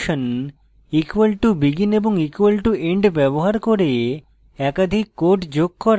= begin এবং = end ব্যবহার করে একাধিক কোড যোগ করা